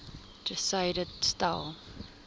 ter syde stel